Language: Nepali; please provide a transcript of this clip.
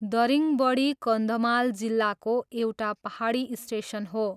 दरिङबडी कन्धमाल जिल्लाको एउटा पाहाडी स्टेसन हो।